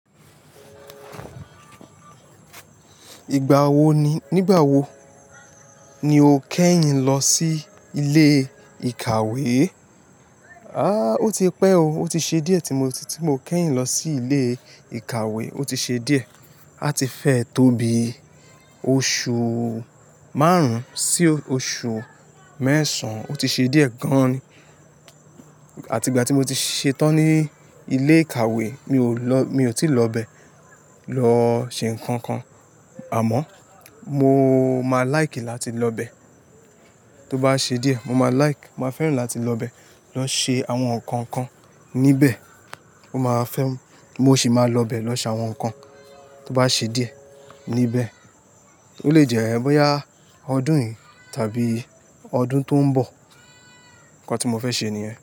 Ìgbà wo ni, nígbà wo ni o kẹ́yìn lọ sí ilé ìkàwé? A, ó ti pẹ́ o, ó ti ṣe díẹ̀ tí mo, tí mo kẹ́yìn lọ sí ilé ìkàwé, ó ti ṣe díẹ̀. A ti fẹ́ tóbi oṣù márùn sí oṣù mẹ́sàn, ó ti ṣe díẹ̀ gan an ni àti ìgbà tí mo ti ṣetán ní ilé ìkàwé, mi ò lọ, mi ò tí lọ bẹ̀ lọ ṣe nǹkan kan. Àmọ́ mo máa láìkì láti lọ bẹ̀. Tó bá ṣe díẹ̀, mo máa láìkì, mo máa fẹ́ràn láti lọ bẹ̀, lọ ṣe àwọn nǹkan kan níbẹ̀. Ó máa fẹ́, mo ṣì máa lọ bẹ̀ lọ ṣàwọn nǹkan tó bá ṣe díẹ̀ níbẹ̀. Ó lè jẹ́ bọ́yá ọdún yìí tàbí ọdún tó ń bọ̀. Ǹkan tí mo fẹ́ ṣe nìyẹn.